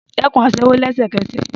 Dẹ́kun aṣẹ́wó lẹ́sẹ̀kẹsẹ̀